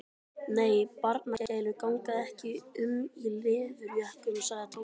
Nei, barnagælur ganga ekki um í leðurjökkum sagði Tóti.